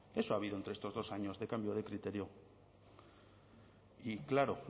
eso ha habido entre estos dos años de cambio de criterio y claro